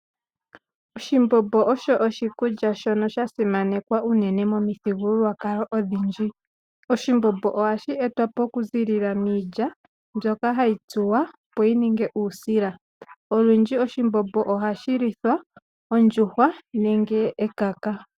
Oshimbombo osho oshikulya shono sha simanekwa unene momithigululwakalo odhindji. Oshimbombo ohashi etwa po okuziilila miilya mbyoka hahi tsuwa opo yi ninge uusila. Olundji oshimbombo ohashi lithwa ondjuhwa nenge ekaka.